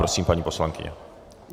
Prosím, paní poslankyně.